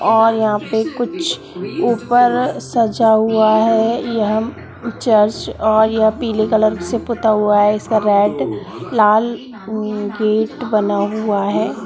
और यहाँ पे कुछ ऊपर सजा हुआ है यह चर्च और यह पीले कलर से पुता हुआ है इसका रेड लाल गेट बना हुआ है।